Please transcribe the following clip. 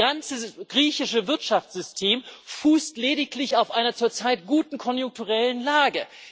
Das ganze griechische Wirtschaftssystem fußt lediglich auf einer zurzeit guten konjunkturellen Lage.